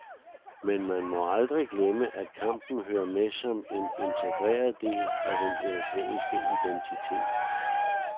Men man må aldrig glemme, at kampen hører med som en integreret del af den europæiske identitet.